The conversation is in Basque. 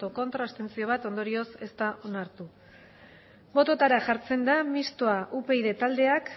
ez bat abstentzio ondorioz ez da onartu bototara jartzen da mistoa upyd taldeak